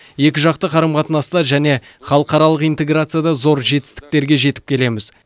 екіжақты қарым қатынаста және халықаралық интеграцияда зор жетістіктерге жетіп келеміз